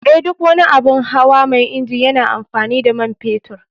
Eh, duk wani abun hawa mai inji yana amfani da man fetur.